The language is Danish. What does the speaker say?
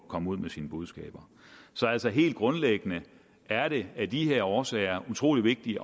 komme ud med sine budskaber så altså helt grundlæggende er det af de her årsager utrolig vigtigt